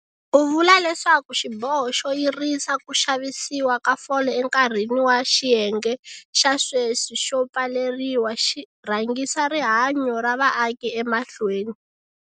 U vula leswaku xiboho xo yirisa ku xavisiwa ka fole enkarhini wa xiyenge xa sweswi xo pfaleriwa xi rhangisa rihanyo ra vaaki emahlweni.